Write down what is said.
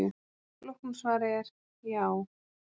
Flókna svarið er: Já.